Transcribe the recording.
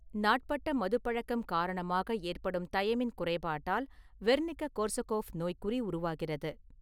நாட்பட்ட மதுப்பழக்கம் காரணமாக ஏற்படும் தயமின் குறைபாட்டால் வெர்னிக்க-கோர்சகோஃப் நோய்க்குறி உருவாகிறது.